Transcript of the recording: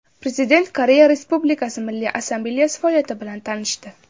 Prezident Koreya Respublikasi Milliy Assambleyasi faoliyati bilan tanishdi.